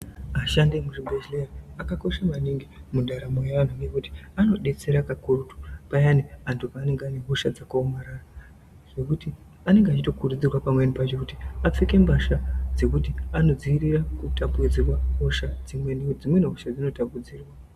Ashandi emuzvibhedhleya akakosha maningi mundaramo yeantu, ngekuti anodetsera kakurutu payani antu peanonga ane hosha dzakaomarara. Zvekuti anenge echito kurudzirwa pamweni pacho kuti apfeke mbasha dzekuti anodziirire kutapudzirwa hosha dzimweni, ngekuti dzimweni hosha dzino tapudzirwa.